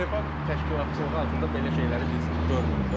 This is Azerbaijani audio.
UEFA təşkilatçılığı altında belə şeyləri biz görmürük də.